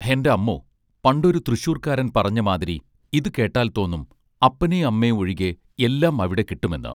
ഹെന്റമ്മോ പണ്ടൊരു തൃശ്ശൂർക്കാരൻ പറഞ്ഞ മാതിരി ഇതു കേട്ടാൽ തോന്നും അപ്പനേം അമ്മേം ഒഴികെ എല്ലാം അവിടെ കിട്ടുമെന്ന്